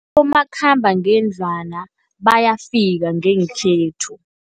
Umakhambangendlwana bayafika ngekhethu.